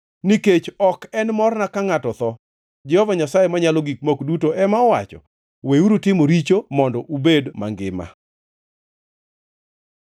Nikech ok en morna ka ngʼato tho, Jehova Nyasaye Manyalo Gik Moko Duto ema owacho. Weuru timo richo mondo ubed mangima!